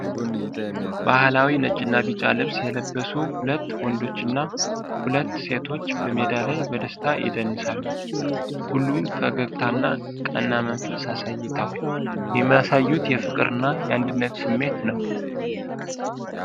ባህላዊ ነጭና ቢጫ ልብስ የለበሱ ሁለት ወንዶችና ሁለት ሴቶች በሜዳ ላይ በደስታ ይደንሳሉ። ሁሉም ፈገግታና ቀና መንፈስ አሳይተዋል፤ የሚያሳዩት የፍቅርና የአንድነት ስሜት ነው።